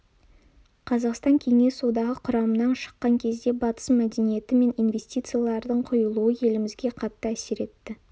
қазақстан кеңес одағы құрамынан шыққан кезде батыс мәдениеті мен инвестициялардың құйылуы елімізге қатты әсер етті